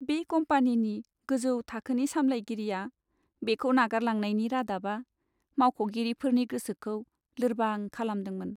बे कम्पानिनि गोजौ थाखोनि सामलायगिरिया बेखौ नागारलांनायनि रादाबा मावख'गिरिफोरनि गोसोखौ लोर्बां खालामदोंमोन!